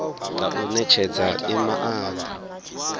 nga u netshedza i maanda